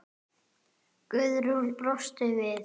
Guðrún brosir við.